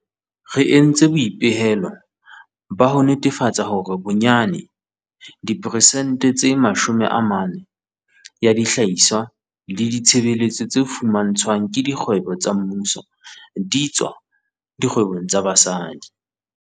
Re entse boipehelo ba ho netefatsa hore bonyane diperesente tse 40 ya dihlahiswa le ditshebeletso tse fumantshwang ke dikgwebo tsa mmuso di tswa dikgwebong tsa basadi.